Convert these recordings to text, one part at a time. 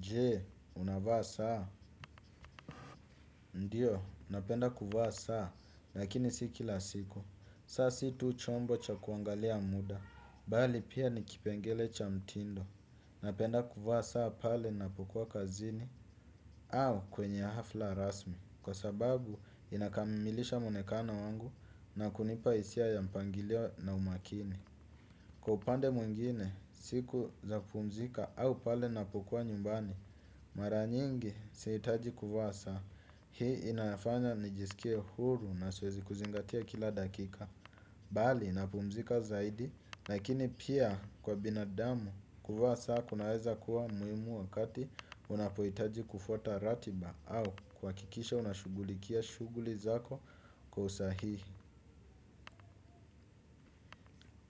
Je, unavaa saa? Ndio, napenda kuvaa saa, lakini si kila siku. Saa si tu chombo cha kuangalia muda, bali pia ni kipengele cha mtindo. Napenda kuvaa saa pale napokuwa kazini au kwenye hafla rasmi. Kwa sababu, inakamilisha maonekano wangu na kunipa hisia ya mpangilio na umakini. Kwa upande mwingine, siku za kupumzika au pale napokuwa nyumbani. Mara nyingi sihitaji kuvaa saa. Hii inafanya nijisikie huru na siwezi kuzingatia kila dakika. Bali napumzika zaidi. Lakini pia kwa binadamu kuvaa saa kunaweza kuwa muhimu wakati unapohitaji kufuata ratiba au kuhakikisha unashughulikia shughuli zako kwa usahihi.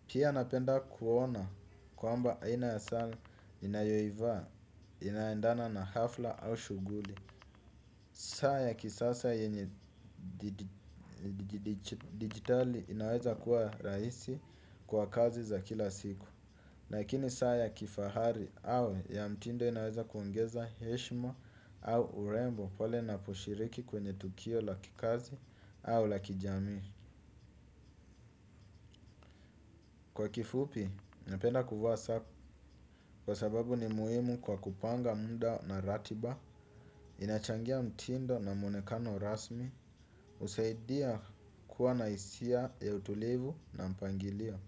Pia napenda kuona kwamba aina ya saa ninayoivaa inaendana na hafla au shughuli. Saa ya kisasa yenye digitali inaweza kuwa raisi kwa kazi za kila siku lakini saa ya kifahari au ya mtindo inaweza kuongeza heshima au urembo pale naposhiriki kwenye tukio la kikazi au la kijamii. Kwa kifupi, napenda kuvaa saa kwa sababu ni muhimu kwa kupanga muda na ratiba. Inachangia mtindo na mwonekano rasmi husaidia kuwa na hisia ya utulivu na mpangilio.